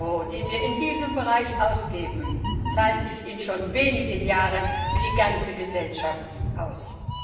Jeder Euro, den wir in diesem Bereich ausgeben, zahlt sich in schon wenigen Jahren für die ganze Gesellschaft aus.